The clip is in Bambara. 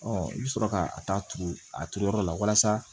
i bɛ sɔrɔ ka a ta tugu a turu yɔrɔ la walasa